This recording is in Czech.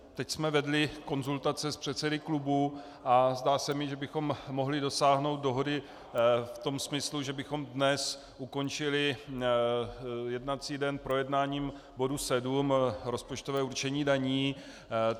Teď jsme vedli konzultace s předsedy klubů a zdá se mi, že bychom mohli dosáhnout dohody v tom smyslu, že bychom dnes ukončili jednací den projednáním bodu 7 - rozpočtové určení daní.